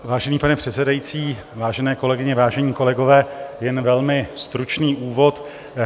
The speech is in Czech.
Vážený pane předsedající, vážené kolegyně, vážení kolegové, jen velmi stručný úvod.